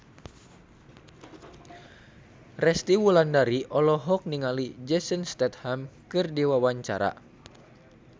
Resty Wulandari olohok ningali Jason Statham keur diwawancara